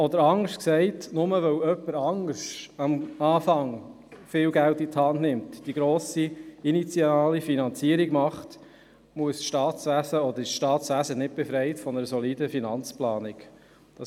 Anders gesagt: Nur weil jemand anderes zu Beginn viel Geld investiert und die grosse anfängliche Finanzierung macht, wird das Staatswesen nicht von einer soliden Finanzplanung befreit.